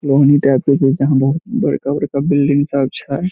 Building सब छे।